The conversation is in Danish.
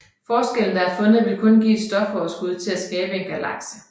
Forskellen der er fundet vil kun give et stofoverskud til at skabe en galakse